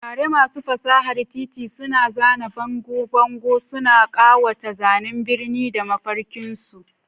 Tare, masu fasahar titi suna zana bangon bango, suna ƙawata zanen birni da mafarkinsu.